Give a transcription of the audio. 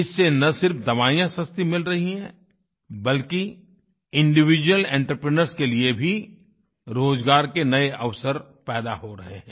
इससे न सिर्फ दवाइयाँ सस्ती मिल रही हैं बल्कि इंडिविड्यूअल एंटरप्रेन्योर्स के लिए भी रोज़गार के नए अवसर पैदा हो रहे हैं